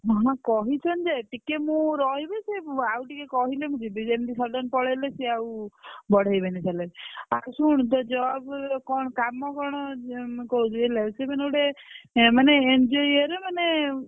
ନା ନା କହିଛନ୍ତି ଯେ ଟିକେ ମୁଁ ରହିବି ସେ ଆଉ ଟିକେ କହିଲେ ମୁଁ ଯିବି ଯେମିତି sudden ପଳେଇଲେ ସେ ଆଉ ବଢେଇବେନି salary ଆଉ ଶୁଣ ସେ job କଣ କାମ କଣ? କହୁଛି ହେଲା ସେ ମାନେ ଗୋଟେ ମାନେ ମାନେ NGO ଇଏରେ ମାନେ।